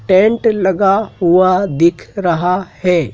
Tent लगा हुआ दिख रहा है।